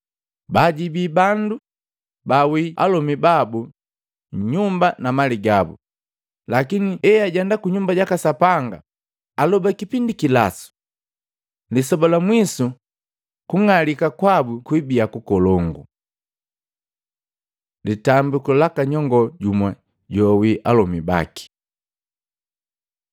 Baajibii bandu baawii alomi babu nyumba na mali gabu, lakini eajenda kunyumba jaka Sapanga aloba kipindi kilasu! Lisoba la mwiso kung'alika kwabu kwibia kukolongu.” Litambiku laka nyongoo jumu joawii alomi baki Luka 21:1-4